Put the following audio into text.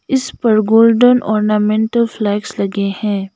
इस पर golden ornamental flags लगे हैं।